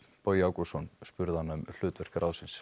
Bogi Ágústsson spurði hana um hlutverk ráðsins